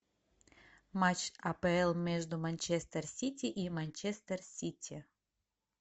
матч апл между манчестер сити и манчестер сити